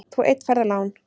Þú einn færð lán.